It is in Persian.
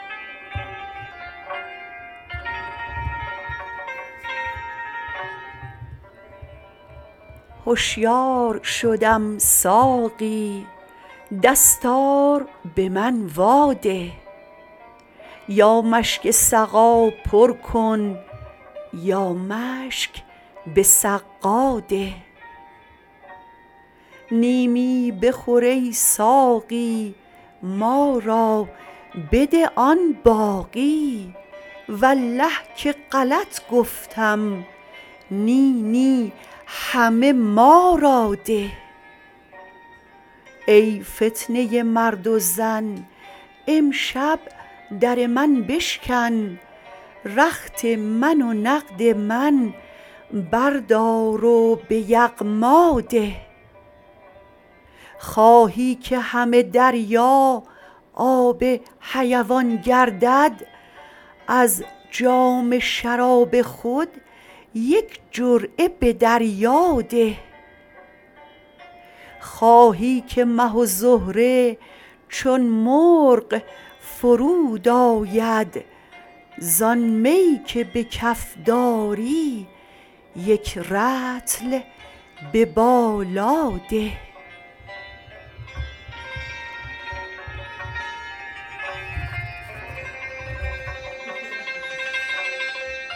هشیار شدم ساقی دستار به من واده یا مشک سقا پر کن یا مشک به سقا ده نیمی بخور ای ساقی ما را بده آن باقی والله که غلط گفتم نی نی همه ما را ده ای فتنه مرد و زن امشب در من بشکن رخت من و نقد من بردار و به یغما ده خواهی که همه دریا آب حیوان گردد از جام شراب خود یک جرعه به دریا ده خواهی که مه و زهره چون مرغ فرود آید زان می که به کف داری یک رطل به بالا ده